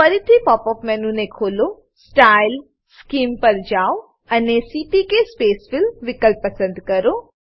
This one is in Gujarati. ફરીથી પોપ અપ મેનુ ને ખોલો સ્ટાઇલ સ્કીમ પર જાઓ અને સીપીકે સ્પેસફિલ વિકલ્પ પસંદ કરો